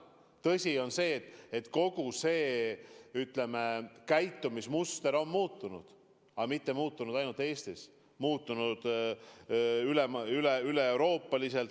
Tõsi on, et kogu see, ütleme, käitumismuster on muutunud, aga see pole muutunud ainult Eestis, vaid kogu Euroopas.